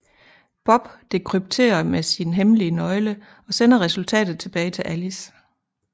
Bob dekrypterer med sin hemmelige nøgle og sender resultatet tilbage til Alice